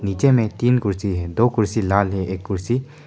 नीचे में तीन कुर्सी है दो कुर्सी लाल है एक कुर्सी--